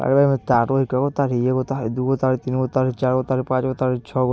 और यहाँ तारो हउ कइगो तार हई एगो तार दूगो तार तीनगो तार चारगो तार पांचगो तार छ |